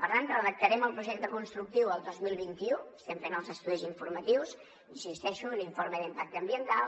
per tant redactarem el projecte constructiu el dos mil vint u n’estem fent els estudis informatius hi insisteixo i l’informe d’impacte ambiental